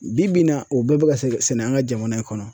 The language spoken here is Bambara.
Bi bi in na o bɛɛ bɛ ka se an ka jamana in kɔnɔ.